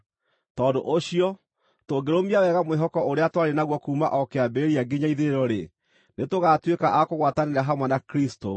Tondũ ũcio, tũngĩrũmia wega mwĩhoko ũrĩa twarĩ naguo kuuma o kĩambĩrĩria nginya ithirĩro-rĩ, nĩtũgaatuĩka a kũgwatanĩra hamwe na Kristũ.